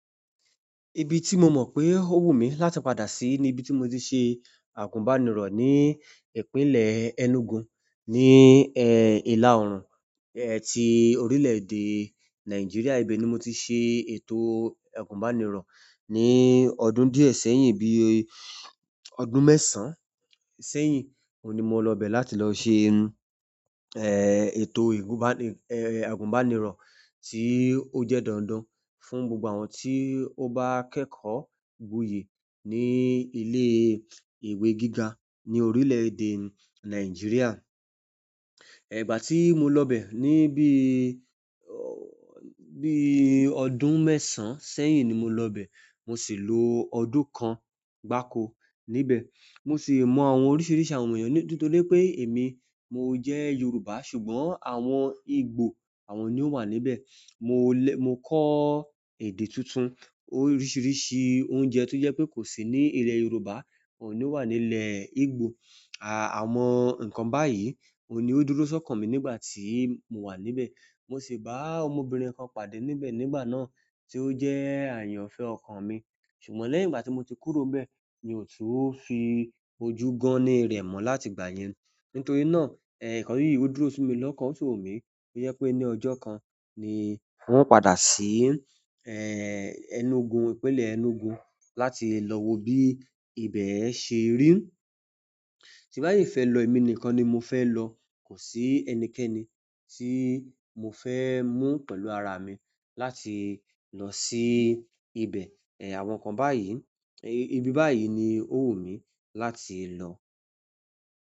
Ibi tí mo mọ̀ pé ó wù mí láti padà sí ni ibi tí mo ti ṣe àgùnbánirọ̀ ni ìpínlẹ̀ Enugu ni ilà orùn ti i orile-ede Naijiria. Ibe ni mo ti ṣe ètò àgùnbánirọ̀ ní ọdún díẹ̀ sẹ́yìn, bí i ọdún mẹ́sàn-án sẹ́yìn. Ohun ni mo lọ bẹ láti lọ ṣe ètò àgùnbánirọ̀ tí ó jẹ́ dandan fún gbogbo àwọn tí ó bá kẹ́kọ̀ọ́ gboyè ní ilé ìwé gíga ní orílẹ̀-èdè Nàìjíríà. Igbá tí mo lọ bẹ̀, bí ọdún mẹ́sàn-án sẹ́yìn ni mo lọ bẹ̀. Mo sì lo ọdún kan gbáko níbẹ̀. Mo sì mọ àwọn oríṣìíríṣìí àwọn ènìyàn nítorí pé èmi mo jẹ́ Yorùbá, ṣùgbọ́n àwọn Igbo àwọn ni ó wà níbẹ̀. Mo kọ́ èdè tuntun oríṣìíríṣìí oúnjẹ tó jẹ́ pé kò sí ní ilẹ̀ Yorùbá ohun ní o wà nílẹ̀ Igbo. Àwọn nǹkan báyìí ohun ni o dúró ṣọkan mi nígbà ti mo wa níbẹ̀ mo sì bá ọmọbìnrin kan pàdé níbẹ̀ nígbà náà tí ó jẹ́ àyànfẹ́ ọkàn mi. Ṣùgbọ́n lẹ́yìn ìgbà tí mo ti kúrò n bẹ́ẹ̀ mi ò tún fi ojú gan-an ni rẹ̀ mọ́ láti ìgbà yẹn. Nítorí náà, nǹkan yìí ó dúró simi lọ́kàn ó sì wù mí to jẹ pé ní ọjọ́ kan ni wọn padà sí Enugu, ìpínlẹ̀ Enugu láti lọ wo bí ibẹ̀ ṣe rí. Tí bá sìí fẹ́ lọ èmi nìkan ni mo fẹ́ lọ. Kò sí ẹnikẹ́ni tí mo fẹ́ mú pẹ̀lú ara mi láti lọ sí ibẹ̀. Àwọn nǹkan báyìí, ibi báyìí ni ó wù mí láti lọ.